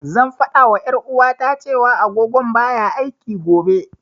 Zan fada wa ƴar'uwata, cewa agogon baya aiki, gobe.